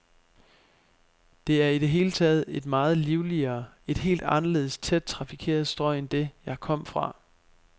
Det er i det hele taget et meget livligere, et helt anderledes tæt trafikeret strøg end det, jeg kom fra.